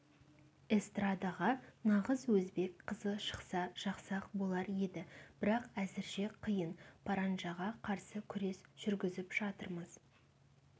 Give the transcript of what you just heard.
эстрадаға нағыз өзбек қызы шықса жақсы-ақ болар еді бірақ әзірше қиын паранжаға қарсы күрес жүргізіп жатырмыз